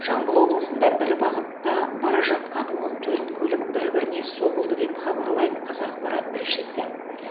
жамбыл облысында бір бағытта бара жатқан он төрт көлік бір біріне соғылды деп хабарлайды қазақпарат тілшісі